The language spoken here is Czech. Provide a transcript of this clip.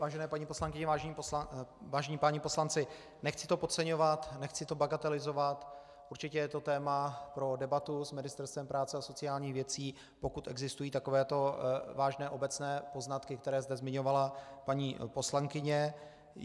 Vážené paní poslankyně, vážení páni poslanci, nechci to podceňovat, nechci to bagatelizovat, určitě je to téma pro debatu s Ministerstvem práce a sociálních věcí, pokud existují takové vážné obecné poznatky, které zde zmiňovala paní poslankyně.